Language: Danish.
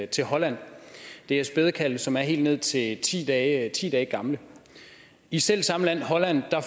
til holland det er spædekalve som er helt ned til ti dage gamle i selv samme land holland